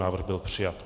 Návrh byl přijat.